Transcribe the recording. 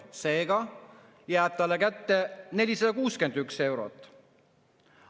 " Seega jääb talle kätte 461 eurot.